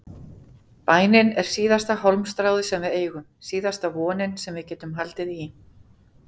Bænin er síðasta hálmstráið sem við eigum, síðasta vonin sem við getum haldið í.